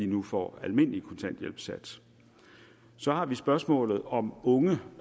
nu får almindelig kontanthjælpssats så har vi spørgsmålet om unge